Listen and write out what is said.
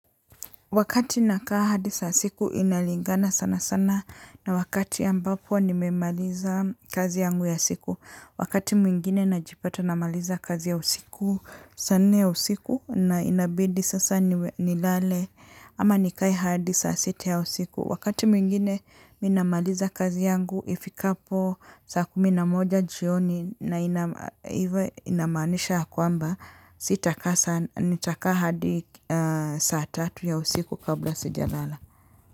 Wakati nakaa hadi saa siku inalingana sana sana na wakati ambapo nimemaliza kazi yangu ya siku. Wakati mwingine najipata namaliza kazi ya usiku saa nne ya usiku na inabidi sasa nilale ama nikae hadi saa sita ya usiku. Wakati mwingine ninamaliza kazi yangu ifikapo saa kumi na moja jioni na inamaanisha ya kwamba, sitakaa sa nitakaa hadi saa tatu ya usiku kabla sijalala.